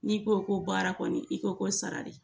N'i ko ko baara kɔni i ko ko sara de